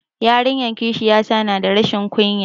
Yaran kishiya ta na da rashin ƙunya